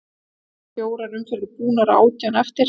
Það eru fjórar umferðir búnar og átján eftir.